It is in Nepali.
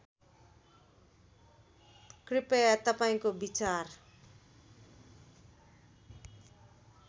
कृपया तपाईँको विचार